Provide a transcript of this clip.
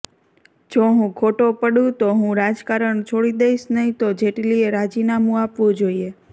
જો હું ખોટો પડું તો હું રાજકારણ છોડી દઈશ નહીં તો જેટલીએ રાજીનામું આપવું જોઈએ